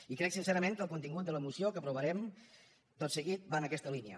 i crec sincerament que el contingut de la moció que aprovarem tot seguit va en aquesta línia